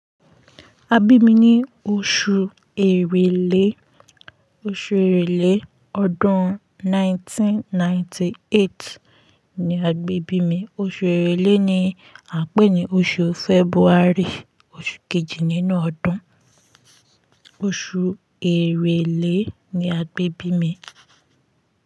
A bí mi ní oṣù Èrèlé, oṣù Èrèlé ọdún 1998 ni a gbé bí mi. Oṣù Èrèlé ni a ń pè ní oṣù February, oṣù kejì nínú ọdún. Oṣù Èrèlé ni a gbé bí mi.